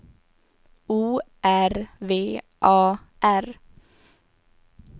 O R V A R